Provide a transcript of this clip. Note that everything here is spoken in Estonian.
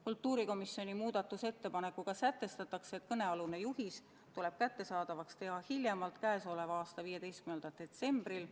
Kultuurikomisjoni muudatusettepanekuga sätestatakse, et kõnealune juhis tuleb kättesaadavaks teha hiljemalt k.a 15. detsembril.